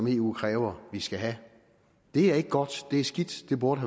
eu kræver at vi skal have det er ikke godt det er skidt det burde